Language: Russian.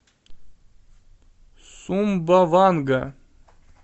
сумбаванга